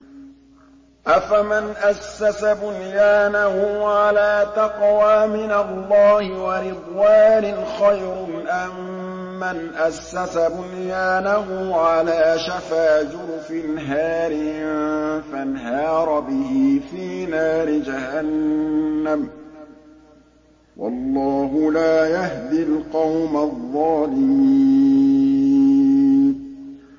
أَفَمَنْ أَسَّسَ بُنْيَانَهُ عَلَىٰ تَقْوَىٰ مِنَ اللَّهِ وَرِضْوَانٍ خَيْرٌ أَم مَّنْ أَسَّسَ بُنْيَانَهُ عَلَىٰ شَفَا جُرُفٍ هَارٍ فَانْهَارَ بِهِ فِي نَارِ جَهَنَّمَ ۗ وَاللَّهُ لَا يَهْدِي الْقَوْمَ الظَّالِمِينَ